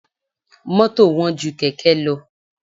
Mọ́tò wọ́n ju Kẹ̀kẹ́ lọ.